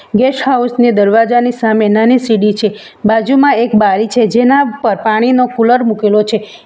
Guest house ની દરવાજાની સામે નાની સીડી છે બાજુમાં એક બારી છે જેના પર પાણીનો કુલર મુકેલો છે.